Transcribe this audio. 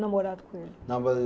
Na Morato Coelho